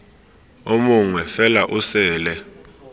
o mongwe fela o sele